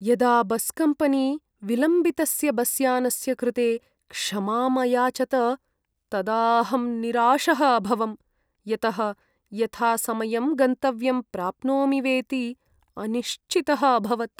यदा बस्कम्पनी विलम्बितस्य बस्यानस्य कृते क्षमाम् अयाचत तदा अहं निराशः अभवं, यतः यथासमयम् गन्तव्यं प्राप्नोमि वेति अनिश्चितः अभवत्।